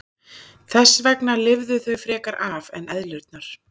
Þess vegna lifðu þau frekar af en eðlurnar.